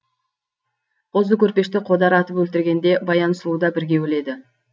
қозы көрпешті қодар атып өлтіргенде баян сұлу да бірге өледі